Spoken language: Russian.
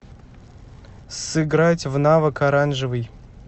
сыграть в навык оранжевый